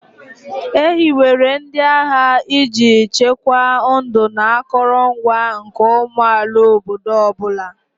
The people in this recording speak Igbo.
E hiwere ndị agha iji chekwaa ndụ na akụrụngwa nke ụmụ amaala obodo ọ bụla.